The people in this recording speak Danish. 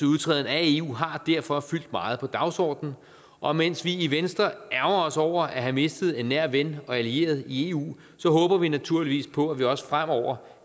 udtræden af eu har derfor fyldt meget på dagsordenen og mens vi i venstre ærgrer os over at have mistet en nær ven og allieret i eu håber vi naturligvis på at vi også fremover